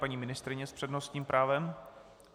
Paní ministryně s přednostním právem.